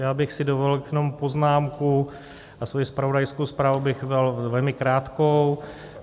Já bych si dovolil jenom poznámku a svoji zpravodajskou zprávu bych měl velmi krátkou.